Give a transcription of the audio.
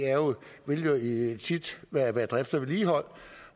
vil jo tit være være drift og vedligehold